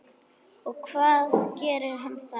Og hvað gerir hann þá?